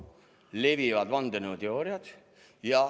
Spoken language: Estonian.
Levivad vandenõuteooriad.